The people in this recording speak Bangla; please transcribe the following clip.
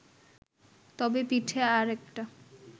তবে পিঠে আর-একটা